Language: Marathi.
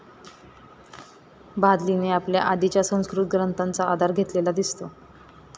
भादलीने आपल्या आधीच्या संस्कृत ग्रंथाचा आधार घेतलेला दिसतो.